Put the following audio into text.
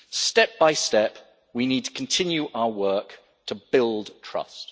Step by step, we need to continue our work to build trust.